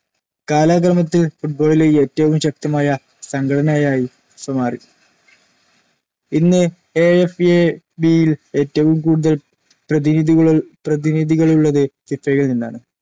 കാലക്രമത്തിൽ ഫുട്ബോളിലെ ഏറ്റവും ശക്തമായ സംഘടനയായി FIFA മാറി. ഇന്ന് ഐ. എഫ്‌. എ. ബി. യിൽ ഏറ്റവും കൂടുതൽ പ്രതിനിധികളുള്ളത്‌ ഫിഫയിൽ നിന്നാണ്‌.